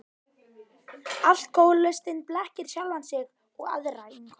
Alkohólistinn blekkir sjálfan sig og aðra í umhverfinu.